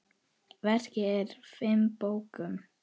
Verkið er í fimm bókum.